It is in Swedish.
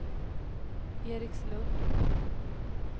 Erikslund